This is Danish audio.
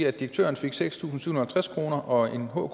at direktøren fik seks tusind syv hundrede og halvtreds kroner og en hker